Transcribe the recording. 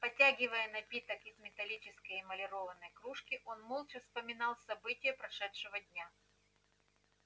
потягивая напиток из металлической эмалированной кружки он молча вспоминал события прошедшего дня